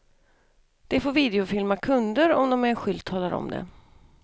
De får videofilma kunder om de med en skylt talar om det.